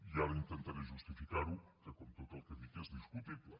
i ara intentaré justificar ho que com tot el que dic és discutible